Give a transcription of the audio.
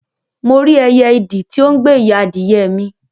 Mo rí ẹyẹ idì ti o n gbe ìyá adìyẹ mi